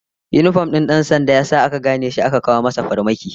Yinifom din dan sandan ya sa aka gane shi aka kawo masa farmaki